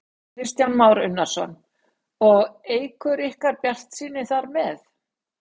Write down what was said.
Kristján Már Unnarsson: Og eykur ykkar bjartsýni þar með?